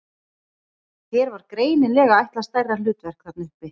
Þér var greinilega ætlað stærra hlutverk þarna uppi!